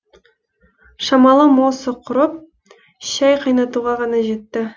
шамалары мосы құрып шәй қайнатуға ғана жетті